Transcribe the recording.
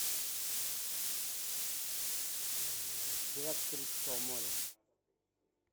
пираты карибского моря